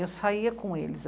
Eu saía com eles.